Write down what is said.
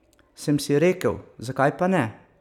Sem si rekel, zakaj pa ne?